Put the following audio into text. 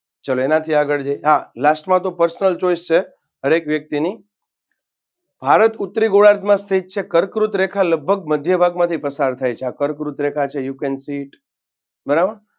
ચાલો એનાથી આગળ જઈએ હા Last માં તો personal choice છે હર એક વ્યક્તિની ભારત ઉત્તરી ગોરાર્ધમાં સ્થિત છે કર્કવૃત રેખા લગભગ મધ્યભાગમાંથી પસાર થાય છે આ કર્કવૃત રેખા છે. You can see it બરાબર?